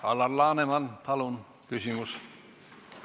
Alar Laneman, palun küsimus!